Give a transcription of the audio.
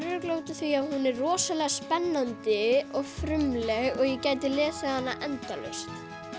er örugglega af því að hún er rosalega spennandi og frumleg og ég gæti lesið hana endalaust